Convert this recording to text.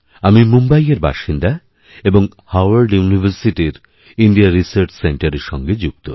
আমি মুম্বইয়ের বাসিন্দা এবংহাওয়ার্ড ইউনিভার্সিটির ইন্দিয়া রিসার্চসেন্টারে এর সঙ্গে যুক্ত